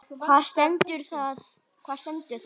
Hvar stendur það?